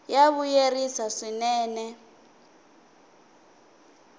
ya vuyerisa swinene